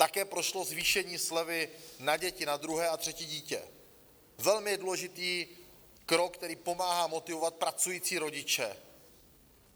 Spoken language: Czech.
Také prošlo zvýšení slevy na děti, na druhé a třetí dítě, velmi důležitý krok, který pomáhá motivovat pracující rodiče.